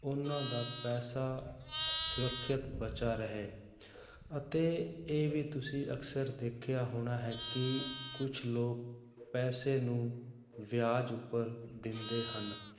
ਉਹਨਾਂ ਦਾ ਪੈਸਾ ਸੁਰੱਖਿਅਤ ਬਚਾ ਰਹੇ ਅਤੇ ਇਹ ਵੀ ਤੁਸੀਂ ਅਕਸਰ ਦੇਖਿਆ ਹੋਣਾ ਹੈ ਕਿ ਕੁਛ ਲੋਕ ਪੈਸੇ ਨੂੰ ਵਿਆਜ਼ ਉੱਪਰ ਦਿੰਦੇ ਹਨ,